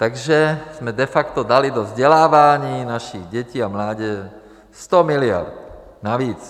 Takže jsme de facto dali do vzdělávání našich dětí a mládeže 100 miliard navíc.